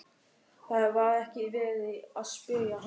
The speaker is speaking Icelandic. Það var ekki verið að spyrja hann!